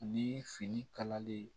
Ani fini kalali